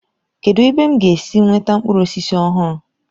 Kedụ ebe m ga-esi nweta mkpụrụ ọjị ọhụrụ.